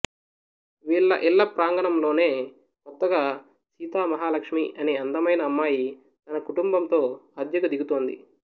వీళ్ళ ఇళ్ళ ప్రాంగణంలోనే కొత్తగా సీత మహాలక్ష్మి అనే అందమైన అమ్మాయి తన కుటుంబంతో అద్దెకు దిగుతుంది